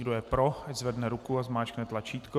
Kdo je pro, ať zvedne ruku a zmáčkne tlačítko.